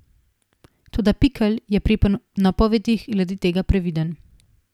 Toda Pikl je pri napovedih glede tega previden.